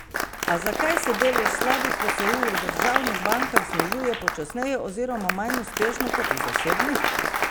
A zakaj se delež slabih posojil v državnih bankah znižuje počasneje oziroma manj uspešno kot v zasebnih?